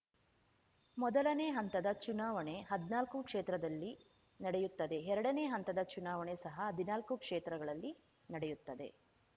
ಮೊದಲನೆ ಹಂತದ ಚುನಾವಣೆ ಹದ್ನಾಲ್ಕು ಕ್ಷೇತ್ರದಲ್ಲಿ ನಡೆಯುತ್ತದೆ ಎರಡನೇ ಹಂತದ ಚುನಾವಣೆ ಸಹ ಹದಿನಾಲ್ಕು ಕ್ಷೇತ್ರಗಳಲ್ಲಿ ನಡೆಯುತ್ತದೆ